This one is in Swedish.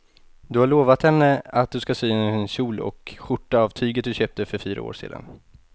Du har lovat henne att du ska sy en kjol och skjorta av tyget du köpte för fyra år sedan.